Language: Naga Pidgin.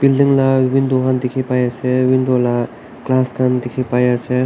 building la window khan dikhi bai ase window la glass khan dikhi pai ase.